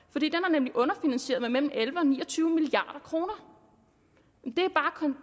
nemlig underfinansieret med mellem elleve og ni og tyve milliard kroner